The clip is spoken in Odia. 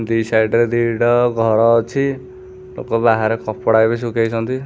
ଦି ସାଇଡ଼୍ ରେ ଦିଟା ଘର ଅଛି ଏକ ବାହାରେ କପଡ଼ା ବି ଶୁଖେଇଚନ୍ତି।